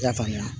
I y'a faamuya